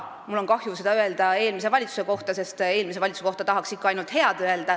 Mul on kahju seda öelda, sest eelmise valitsuse kohta tahaks öelda ikka ainult head.